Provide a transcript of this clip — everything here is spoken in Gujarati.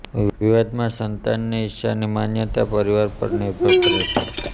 વિવાદમાં સંતાનની ઇચ્છાની માન્યતા પરિવાર પર નિર્ભર કરે છે